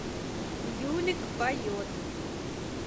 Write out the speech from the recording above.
юлик поет